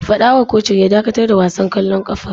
Fada wa kocin ya dakatar da wasan kwallon kafa!